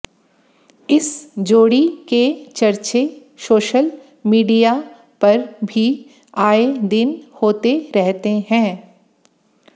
इस जोड़ी के चर्चे सोशल मीडिया पर भी आए दिन होते रहते हैं